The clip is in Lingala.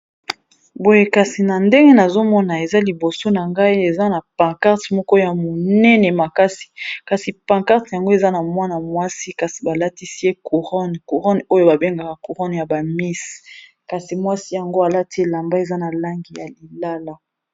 Boye kasi na ndenge nazomona eza liboso na ngai eza na pankarte moko ya monene makasi kasi pankarte yango eza na mwana mwasi kasi balatisi ye couronne courone oyo babengaka courone ya ba miss kasi mwasi yango alati elamba eza na langi ya lilala.